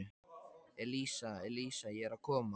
Elísa, Elísa, ég er að koma